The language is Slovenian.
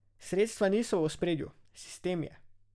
Sredstva niso v ospredju, sistem je.